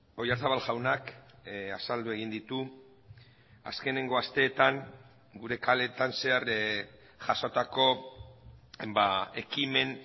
oyarzabal jaunak azaldu egin ditu azkeneko asteetan gure kaleetan zehar jasotako ekimen